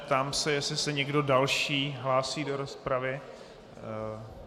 Ptám se, jestli se někdo další hlásí do rozpravy.